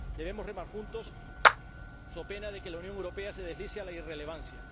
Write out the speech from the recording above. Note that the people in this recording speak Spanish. Debemos remar juntos, so pena de que la Unión Europea se deslice hacia la irrelevancia.